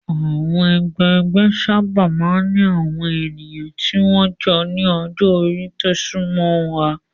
Àwọn ẹgbẹgbẹ́ sábà máa ń ní àwọn ènìyàn tí wọ́n jọ ní ọjọ́-orí tó súnmọ́ ra.